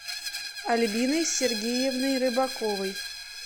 альбиной сергеевной рыбаковой